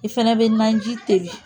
I fɛnɛ bɛ naji teli